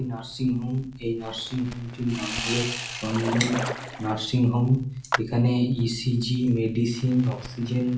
Nursing home এই nursing home -টির নাম হল চন্দন নার্সিং হোম এখানে ইসিজি মেডিসিন অক্সিজেন ।